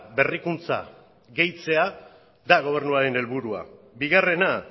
berrikuntza gehitzea da gobernuaren helburua bigarrena